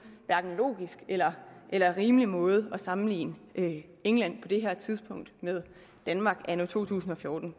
logisk eller eller rimelig måde at sammenligne england på det her tidspunkt med danmark anno to tusind og fjorten